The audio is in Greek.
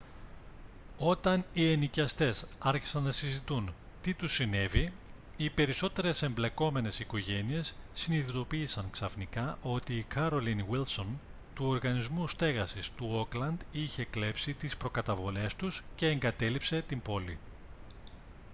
όταν οι ενοικιαστές άρχισαν να συζητούν τι τους συνέβη οι περισσότερες εμπλεκόμενες οικογένειες συνειδητοποίησαν ξαφνικά ότι η carolyn wilson του οργανισμού στέγασης του όκλαντ είχε κλέψει τις προκαταβολές τους και εγκατέλειψε την πόλη